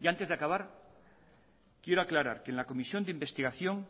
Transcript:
y antes de acabar quiero aclarar que en la comisión de investigación